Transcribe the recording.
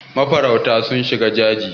mafarauta sun shiga daji